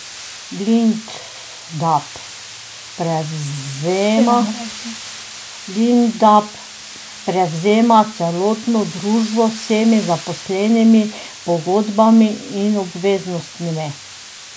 Lindab prevzema celotno družbo z vsemi zaposlenimi, pogodbami in obveznostmi.